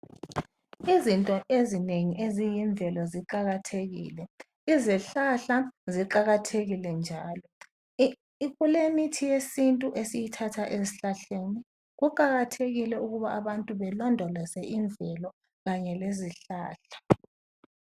Izinto ezinengi eziyimvelo ziqakathekile, izihlahla ziqakathekile njalo. Kulemithi yesintu esiyithatha ezihlahleni kuqakathekile ukuthi abantu balondoloze imvelo kanye lezihlahla.